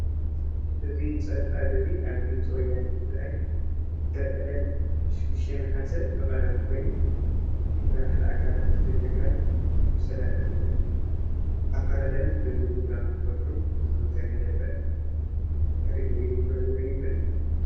እዚ ፀብፃብ እዚ አብ ድምፂ ወያነ ትግራይ ብዕለት 6 ነሓስ ዝቐረበ ኮይኑ መራሕቲ አካላት ትግራይ አፈላላዮም ብምልዛብ ክፈትሑ ዝተገለፀ ሪኢቶ እዩ፡፡